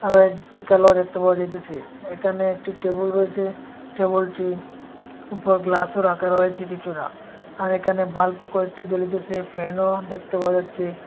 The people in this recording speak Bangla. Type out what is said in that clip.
আরও একটি কালোও দেখতে পাওয়া যাইতেসে এখানে একটি টেবিল রয়েসে টেবিলটির ওপর গ্লাসও রাখা রয়েছে কিছুরা আর এখানে বাল্বও কয়েকটি জ্বলিতেসে ফ্যানও দেখতে পাওয়া যাচ্ছে।